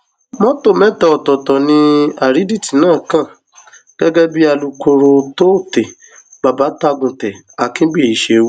mọtò mẹta ọtọọtọ ni àrídìtì náà kàn gẹgẹ bí alūkkóró tôte babatagùntẹ àkínbíyí ṣe wí